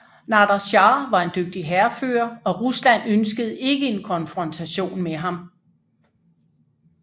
Nader Shah var en dygtig hærfører og Rusland ønskede ikke en konfrontation med ham